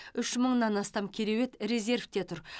үш мыңнан астам кереует резерьвте тұр